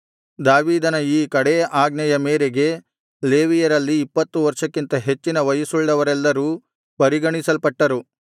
ದಾವೀದನ ಈ ಕಡೇ ಆಜ್ಞೆಯ ಮೇರೆಗೆ ಲೇವಿಯರಲ್ಲಿ ಇಪ್ಪತ್ತು ವರ್ಷಕ್ಕಿಂತ ಹೆಚ್ಚಿನ ವಯಸ್ಸುಳ್ಳವರೆಲ್ಲರೂ ಪರಿಗಣಿಸಲ್ಪಟ್ಟರು